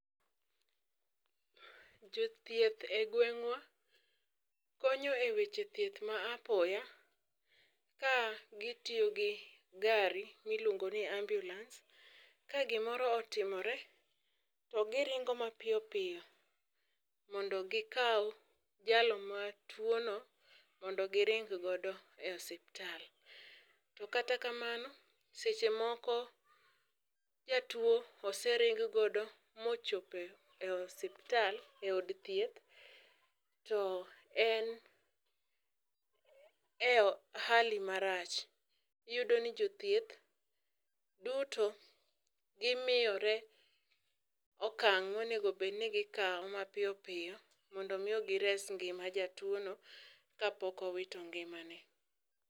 Jothieth e gweng'wa konyo e weche thieth ma aopya ka gitiyo gi gari miluongo ni ambulance, ka gimoro otimore to giringo mapiyo piyo mondo gikaw jalo matuo no mondo giring godo e osiptal. To kata kamano seche moko jatuo osering godo mochope e osiptal,e od thieth to en e hali marach, iyudo ni jothieth duto gimiyore okang monego obed ni gikaw mapiyo piyo mondo mi ni gires ngima jatuo no kapok owito ngimane